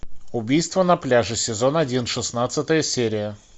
убийство на пляже сезон один шестнадцатая серия